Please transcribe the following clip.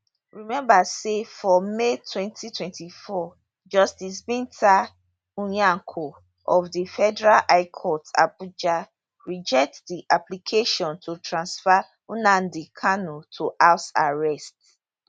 remember say for may 2024 justice binta nyako of di federal high court abuja reject di application to transfer nnamdi kanu to house arrest